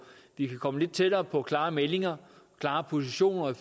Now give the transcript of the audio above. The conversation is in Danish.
de kan komme lidt tættere på klare meldinger klare positioner i